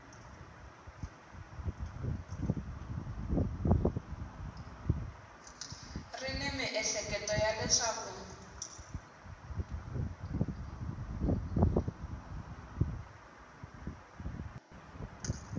ri ni miehleketo ya leswaku